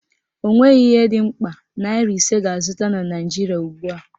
Ọ nweghị ihe dị mkpa naịra ise ga-azụta na Naijiria ugbua